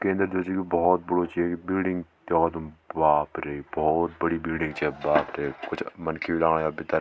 केंद्र जू च य भौत बड़ु च येक बिल्डिंग द्याखो तुम बाप रै भौत बड़ी बिल्डिंग च बाप रै कुछ मनखी लाया भितर।